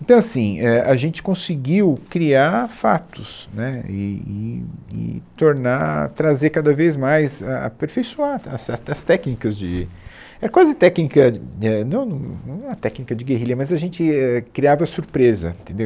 Então, assim, é, a gente conseguiu criar fatos, né, e e e tornar, trazer cada vez mais, a aperfeiçoar a ta, as ta, as técnicas de... é quase técnica... éh, não no, não é a técnica de guerrilha, mas a gente é criava surpresa, entendeu?